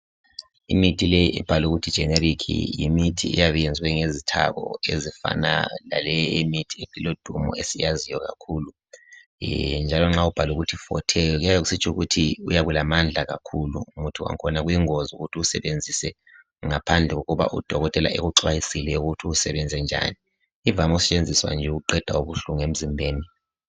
Imithi leyi ibhaliwe ukuthi 'generic' yimithi eyabe iyenzwe ngezithaku ezifana laleyi imithi elodumo esiyaziyo kakhulu. Njalo nxa kubhalwe ukuthi 'forte' kuyabe kusitsho ukuthi uyabe ulamandla kakhulu umuthi wakhona, kuyingozi ukuthi usebenzise ngaphandle kokuba udokotela ekuxwayisile ukuthi usebenze njani. Ivame ukusentshenziswa ukuqeda ubuhlungu emizimbeni.